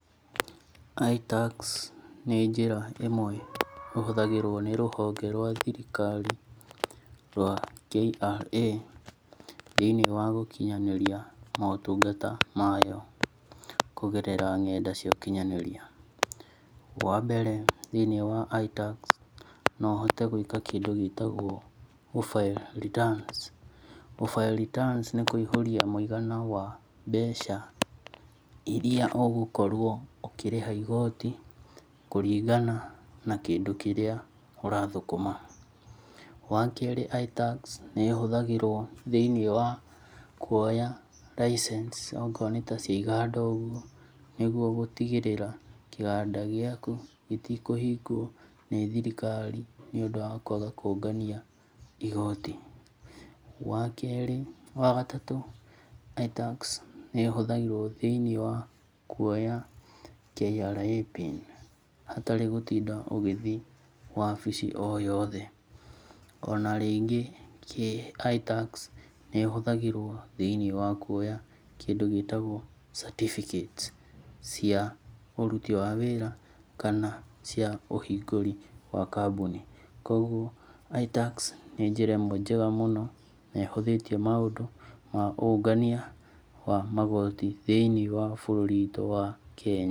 ITax nĩ njĩra ĩmwe ĩhũthagĩrwo nĩ rũhonge rwa thirikari rwa KRA thĩ~inĩ wa gũkinyanĩria motungata mayo kũgerera ng'enda cia ũkinyanĩria. Wambere thĩ~inĩ wa ITax no ũhote gwĩka kĩndũ gĩtagwo gũ file returns. Gũ file returns nĩ kũihũuria mũigana wa mbeca iria ũgũkorwo ũkĩrĩha igoti kũringana na kĩndũ kĩrĩa ũrathũkũma. Wakerĩ ITax nĩ ĩhũthagĩrwo thĩ~inĩ wa kuoya license ongorwo nĩ ta cia iganda ũgwo. Nĩguo gũtigĩrĩra kĩganda gĩaku gĩtikũhingwo ni thirikari nĩ ũndũ wa kwaga kũũngania igoti. Wagatatũ ITax nĩ ĩhũthagĩrwo thĩ~inĩ wa kuoya KRA PIN hatarĩ gũtinda ũgĩthi wabici oyothe. Ona rĩngĩ ITax nĩ ĩhũthagĩrwo thĩ~inĩ wa kuoya kindu gĩtagwo certificates cia ũruti wa wĩra kana cia ũhingũri wa kambuni. Kogwo ITax nĩ njĩra ĩmwe njega mũno na ihũthĩtie maũndũ ma ũngania wa magoti thĩ~inĩ wa bũrũri witũ wa Kenya.